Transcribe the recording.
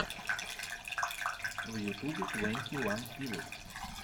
в ютубе твенти ван пилотс